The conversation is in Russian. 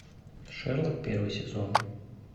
шерлок первый сезон